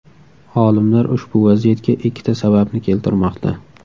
Olimlar ushbu vaziyatga ikkita sababni keltirmoqda.